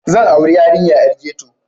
Zan auri 'yarinya 'yar ghetto.